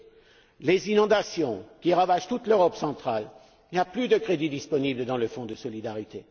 S'agissant des inondations qui ravagent toute l'Europe centrale, il n'y a plus de crédits disponibles dans le Fonds de solidarité.